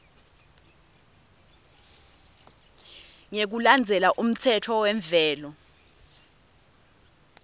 ngekulandzela umtsetfo wemvelo